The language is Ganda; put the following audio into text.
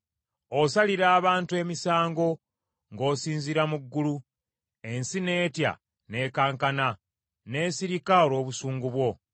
Osalira abantu emisango ng’osinziira mu ggulu, ensi n’etya n’ekankana n’esirika olw’obusungu bwo,